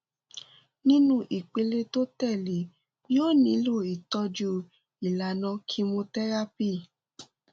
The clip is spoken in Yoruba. nínú ìpele tó tẹlé e yóò nílò ìtọjú ìlànà chemotherapy